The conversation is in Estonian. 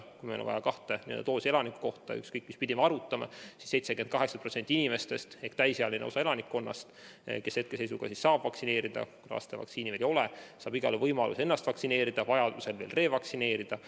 Kui on vaja kahte doosi ühe elaniku kohta, siis ükskõik mis pidi me arvutame, saab 78% inimestest ehk täisealine osa elanikkonnast, keda saab vaktsineerida – laste vaktsiini veel ei ole –, igal juhul võimaluse ennast vaktsineerida, vajaduse korral ka revaktsineerida.